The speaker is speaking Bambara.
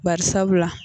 Bari sabula